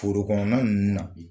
Forokono na ninnu na.